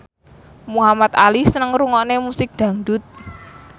Muhamad Ali seneng ngrungokne musik dangdut